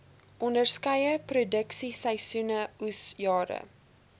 onderskeie produksieseisoene oesjare